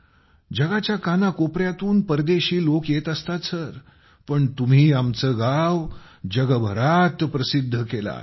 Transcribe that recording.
जगाच्या कानाकोपऱ्यातून परदेशी लोक येत असतात सर पण तुम्ही आमचे गाव जगभरात प्रसिद्ध केले आहे